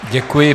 Děkuji.